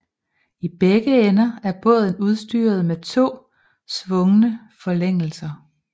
I begge ender er båden udstyret med to svungne forlængelser